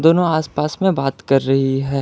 No आस पास मे बात कर रही है।